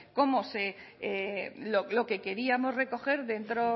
lo que queríamos recoger dentro